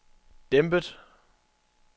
dæmpet